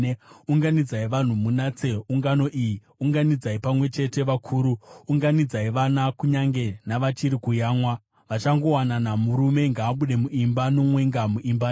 Unganidzai vanhu, munatse ungano iyi, unganidzai pamwe chete vakuru, unganidzai vana, vachiri kuyamwa. Vachangowanana, murume ngaabude muimba yake nomwenga muimba yake.